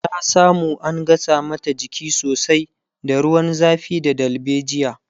ta samu an gasa mata jiki sosai da ruwan zafi da dalbejia